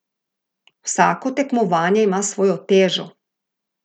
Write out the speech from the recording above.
Vsako tekmovanje ima svojo težo.